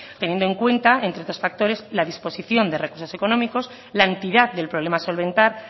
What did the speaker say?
teniendo en cuenta entre otros factores la disposición de recursos económicos la entidad del problema a solventar